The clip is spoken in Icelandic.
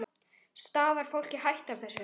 Stafar fólki hætta af þessu?